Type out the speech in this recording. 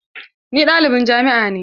Ni ɗalibin jami'a ne.